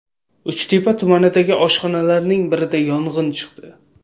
Uchtepa tumanidagi oshxonalarning birida yong‘in chiqdi .